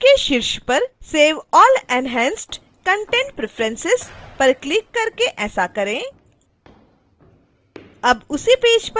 page के शीर्ष पर save all enhanced content preferences पर क्लिक करके ऐसा करें